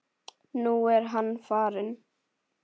Nú er hann farinn.